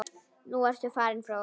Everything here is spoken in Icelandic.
Nú ertu farinn frá okkur.